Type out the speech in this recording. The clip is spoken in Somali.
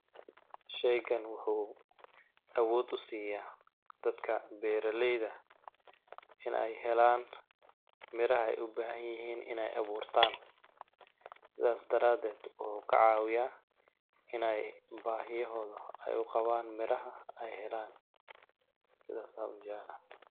Sheygan waxuu awoood u siyaa dadka beeralayda in ay helaan miraha ay u bahan yihiin ineey abuurtaan sidaas daraadeed waxuu ka cawiyaa ineey bahiyahooda ay uqabaan miraha ay helaan, sidaas aan u jeclahay.